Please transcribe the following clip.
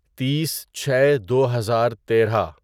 تیس چھے دو ہزار تیرہ